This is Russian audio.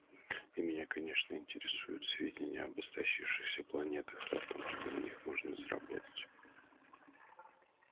и меня конечно интересуют сведения об истощившихся планетах и о том что на них можно заработать